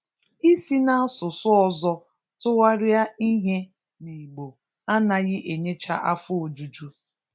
Isi n'asụsụ ọzọ tụgharịa ihe n'Igbo anaghị enyecha afọ ojuju